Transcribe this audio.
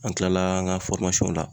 An kilala an ka la